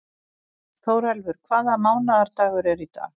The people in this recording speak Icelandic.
Þórelfur, hvaða mánaðardagur er í dag?